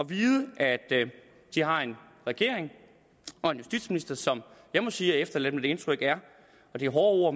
vide at de har en regering og en justitsminister som jeg må sige efterlader det indtryk det er hårde ord